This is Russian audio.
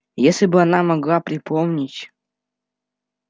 если бы она могла припомнить